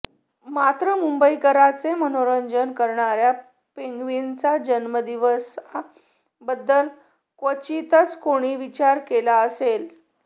मात्र मुंबईकरांचे मनोरंजन करणाऱ्या पेंग्विनचा जन्मदिवसा बद्दल क्वचितच कोणी विचार केला असेल